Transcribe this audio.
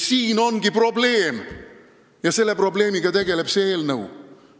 Siin ongi probleem, millega tegeleb see eelnõu.